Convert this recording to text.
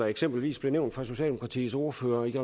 eksempelvis blev nævnt af socialdemokratiets ordfører i